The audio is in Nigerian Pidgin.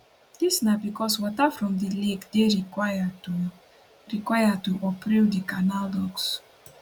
dis na becos water from di lake dey required to required to operate di canal locks